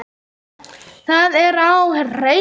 Það er á hreinu.